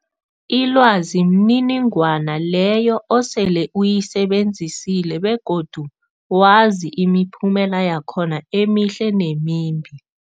Ilwazi mniningwana leyo osele uyisebenzisile begodu wazi imiphumela yakhona emihle nemimbi.